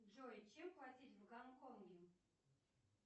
джой чем платить в гонконге